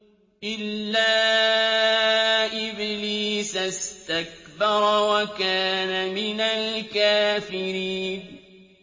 إِلَّا إِبْلِيسَ اسْتَكْبَرَ وَكَانَ مِنَ الْكَافِرِينَ